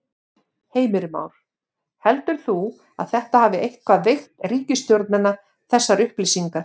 Heimir Már: Heldur þú að þetta hafi eitthvað veikt ríkisstjórnina þessar upplýsingar?